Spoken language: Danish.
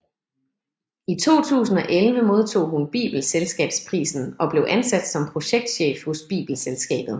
I 2011 modtog hun Bibelselskabsprisen og blev ansat som projektchef hos Bibelselskabet